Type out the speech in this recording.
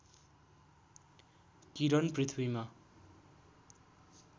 किरण पृथ्वीमा